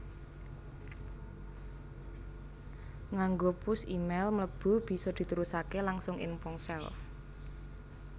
Nganggo push e mail mlebu bisa diterusaké langsung ing ponsel